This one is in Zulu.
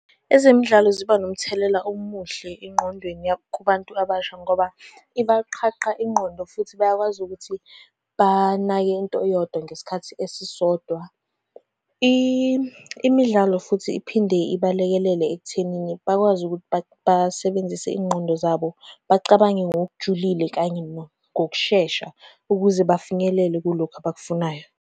Ezemidlalo ziba nomthelela omuhle engqondweni kubantu abasha ngoba ibaqhaqha ingqondo, futhi bayakwazi ukuthi banake into eyodwa ngesikhathi esisodwa. Imidlalo futhi iphinde ibalekelele ekuthenini bakwazi ukuthi basebenzise iy'ngqondo zabo. Bacabange ngokujulile kanye ngokushesha, ukuze bafinyelele kulokhu abakufunayo.